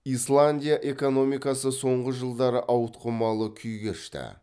исландия экономикасы соңғы жылдары ауытқымалы күй кешті